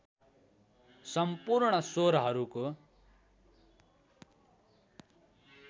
सम्पूर्ण स्वरहरूको